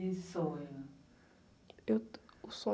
E sonho?u, o sonho